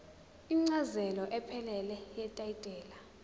incazelo ephelele yetayitela